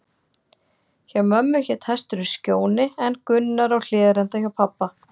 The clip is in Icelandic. Hjá mömmu hét hesturinn Skjóni, en Gunnar á Hlíðarenda hjá pabba.